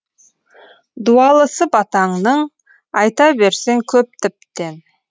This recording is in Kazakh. дуалысы батаңның айта берсең көп тіптен